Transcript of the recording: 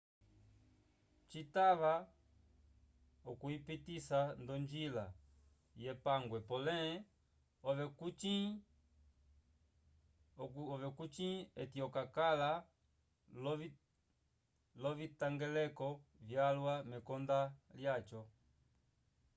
citava okuyipitisa nd'onjila yepangwe pole ove kucĩ okakala l'ovitangeleko vyalwa mekonda lyaco